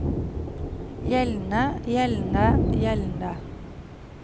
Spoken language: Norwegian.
gjeldende gjeldende gjeldende